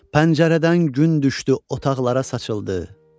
Pəncərədən gün düşdü, otaqlara saçıldı.